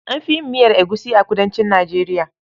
An fi yin miyar egusi a kudancin Nijeriya.